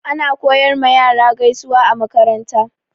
Ana koyar ma yara gaisuwa a makaranta.